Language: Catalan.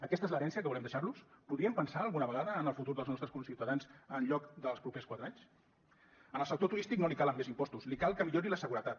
aquesta és l’herència que volem deixar los podríem pensar alguna vegada en el futur dels nostres conciutadans en lloc dels propers quatre anys al sector turístic no li calen més impostos li cal que millori la seguretat